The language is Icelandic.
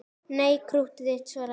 Nei, krúttið þitt, svaraði ég.